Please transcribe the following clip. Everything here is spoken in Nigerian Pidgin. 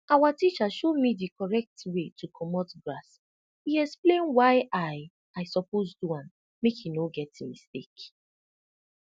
awa teacher show me di correct way to comot grass e explain why i i suppose do am make e no get mistake